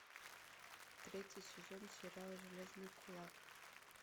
третий сезон сериала железный кулак